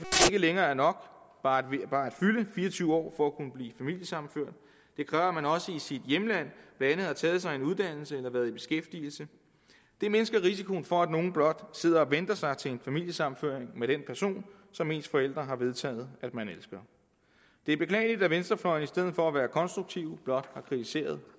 længere er nok bare at fylde fire og tyve år for at kunne blive familiesammenført det kræver at man også i sit hjemland blandt andet har taget sig en uddannelse eller været i beskæftigelse det mindsker risikoen for at nogle blot sidder og venter sig til en familiesammenføring med den person som ens forældre har vedtaget at man elsker det er beklageligt at venstrefløjen i stedet for at være konstruktiv blot har kritiseret